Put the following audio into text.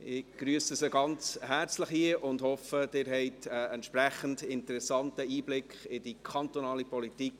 Ich begrüsse Sie ganz herzlich hier und hoffe, Sie erhalten einen entsprechend interessanten Einblick in die kantonale Politik.